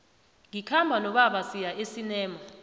ngikhamba nobaba siya esinema